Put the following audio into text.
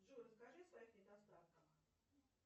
джой расскажи о своих недостатках